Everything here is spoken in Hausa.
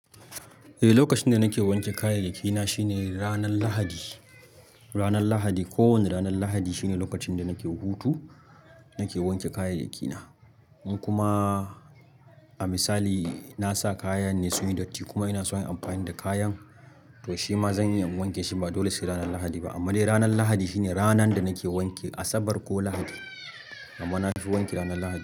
Eh, lokacin da nake wanke kayayyaki na shine ranar Lahadi. Ranar Lahadi, kowane ranar Lahadi shine lokacin da nake hutu, nake wanke kayayyaki na. In kuma, a misali na sa kayan ne sun yi datti kuma ina son yin amfani da kayan, to shi ma zan iya, in wanke shi ba dole sai ranar Lahadi ba. Amma dai ranar Lahadi shine ranan da nake wanki, Asabar ko Lahadi. Amma na fi wanki ranar Lahadi.